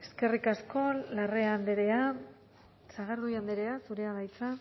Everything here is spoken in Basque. eskerrik asko larrea andrea sagardui andrea zurea da hitza